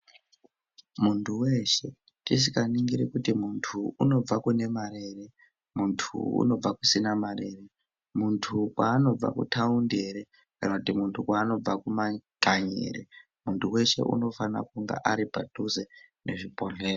Muntu weshe ,tisikaningiri kuti muntuyu unobva kune mare ere, muntu unobva kusima mare ere, muntu kwaanobva kuthaundi ere ,kana kuti muntu kwaanobva kumakanyi ere, muntu unofana kunge ari padhuze nezvibhedhleya.